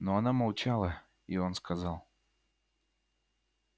но она молчала и он сказал